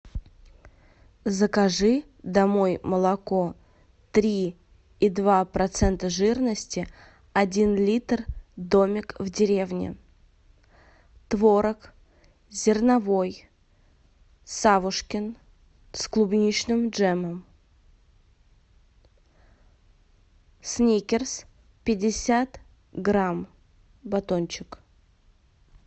закажи домой молоко три и два процента жирности один литр домик в деревне творог зерновой савушкин с клубничным джемом сникерс пятьдесят грамм батончик